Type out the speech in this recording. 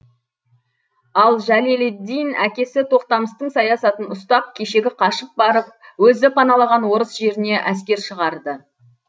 ал жәлеллиддин әкесі тоқтамыстың саясатын ұстап кешегі қашып барып өзі паналаған орыс жеріне әскер шығарды